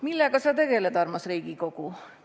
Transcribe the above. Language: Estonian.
"Millega sa tegeled, armas Riigikogu?